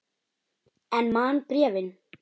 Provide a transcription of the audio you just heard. En man bréfin.